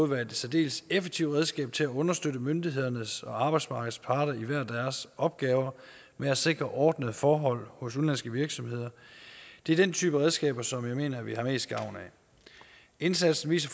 være et særdeles effektivt redskab til at understøtte myndighederne og arbejdsmarkedets parter i hver deres opgaver med at sikre ordnede forhold hos udenlandske virksomheder det er den type redskaber som jeg mener vi har mest gavn af indsatsen viser